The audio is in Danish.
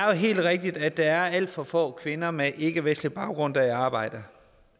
helt rigtigt at der er alt for få kvinder med ikkevestlig baggrund der er i arbejde